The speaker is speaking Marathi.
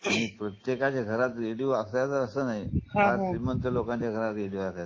आणि प्रत्येकाच्या घरात रेडिओ असायचा असा नाही फार श्रीमंत लोकांच्या घरात रेडिओ असायच